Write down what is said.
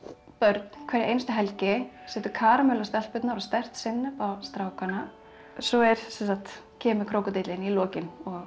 börn um hverja einustu helgi setur karamellu á stelpurnar og sterkt sinnep á strákana svo kemur krókódíllinn í lokin og